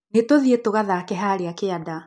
Nĩtũthiĩ tũgathake harĩa kĩanda.